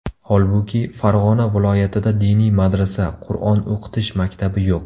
Holbuki, Farg‘ona viloyatida diniy madrasa, Qur’on o‘qitish maktabi yo‘q.